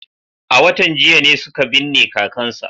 A watan jiya ne suka binne kakansa.